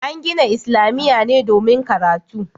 An gina islamiyya ne domin karatu